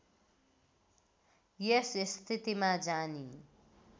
यस स्थितिमा जानी